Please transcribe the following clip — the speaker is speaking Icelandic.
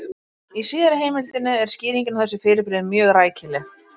Í síðari heimildinni er skýringin á þessu fyrirbrigði mjög rækileg: